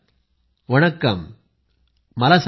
उंगलक्के इन्द library idea येप्पडी वंददा